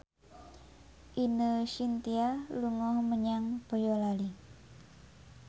Ine Shintya dolan menyang Boyolali